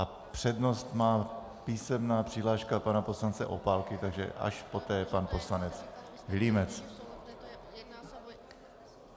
A přednost má písemná přihláška pana poslance Opálky, takže až poté pan poslanec Vilímec.